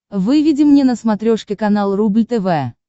выведи мне на смотрешке канал рубль тв